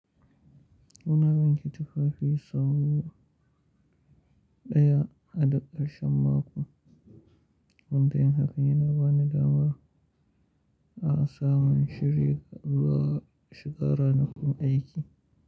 Muna wanki tufafi sau ɗaya a ɗakar shan mako. Wundiyar haƙani na ba ni damar a samun shiri ga zuwa shiga ranakun aiki.